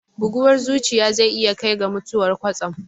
Bugawar zuciya zai iya kai ga mutuwar kwatsam